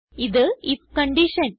ഇത് if condition